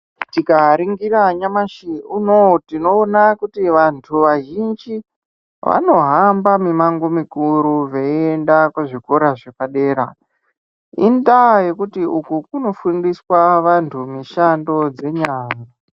Tikaringira nyamashi unowu, tinoona kuti vantu vazhinji , vanohamba mimango mikuru veienda kuzvikora zvepadera. Indaa yekuti uku kunofundiswa vantu mishando dzenyara.